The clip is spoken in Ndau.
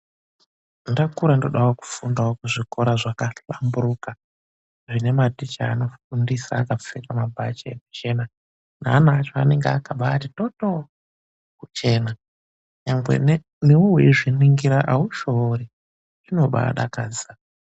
Ndakura ndodawo kufundawo kuzvikora zvakahlamburuka zvinematicha anofundisa akapfeka mabhachi ekuchena neana acho akabati totoo kuchena. Nyangwe newewo weizviringira haushore, zvinobadakadza.